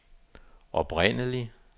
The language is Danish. oprindelig